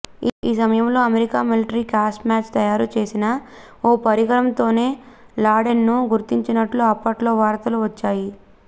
ఆ సమయంలో America military crossmatch తయారుచేసిన ఓ పరికరంతోనే లాడెన్ను గుర్తించినట్లు అప్పట్లో వార్తలు వచ్చాయి